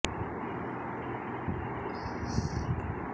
এর মধ্যে গেলো কয়েক দিনে কণ্ঠ দেওয়া পাঁচটি গানের কথা বাংলানিউজের সঙ্গে শেয়ার